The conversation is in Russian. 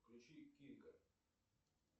включи кика